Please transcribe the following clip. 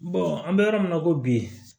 an bɛ yɔrɔ min na i ko bi